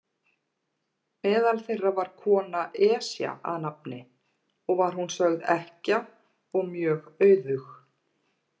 Meðal þeirra var kona, Esja að nafni, og var hún sögð ekkja og mjög auðug.